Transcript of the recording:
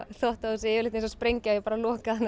þvottahúsið er yfirleitt eins og sprengja ég bara loka þannig